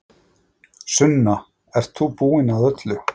Sunna, ert þú búin að öllu?